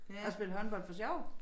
Og spille håndbold for sjov